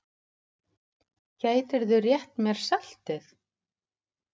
Gætirðu rétt mér saltið?